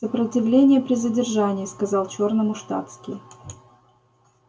сопротивление при задержании сказал чёрному штатский